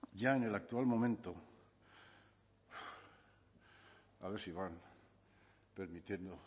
ya en el actual momento a ver si van permitiendo